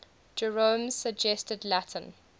jerome's suggested latin